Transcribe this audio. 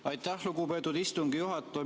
Aitäh, lugupeetud istungi juhataja!